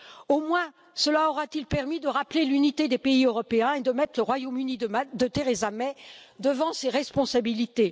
Au moins cela aura t il permis de rappeler l'unité des pays européens et de mettre le Royaume Uni de Theresa May devant ses responsabilités.